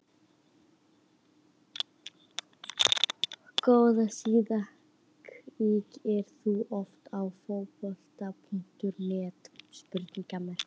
Góð síða Kíkir þú oft á Fótbolti.net?